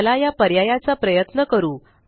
चला या पर्याया चा प्रयत्न करू